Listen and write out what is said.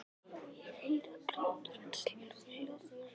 Og ég heyri að grátur hans hljóðnar.